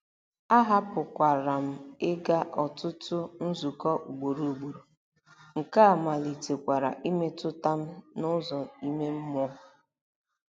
Ahapụkwara m ịga ọtụtụ nzukọ ugboro ugboro, nke a malitekwara imetụta m n'ụzọ ime mmụọ.